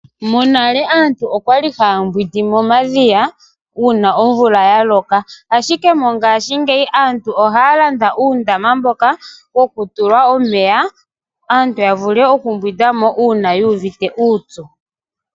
Monale aantu okwa li haya mbwindi momadhiya uuna omvula yaloka, ashike mongashingeyi aantu ohaya landa uundama mboka hawu tulwa, aantu ya vule okumbwinda mo uuna yu uvite uupyu.